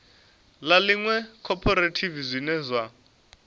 ḽa iṅwe khophorethivi zwine zwa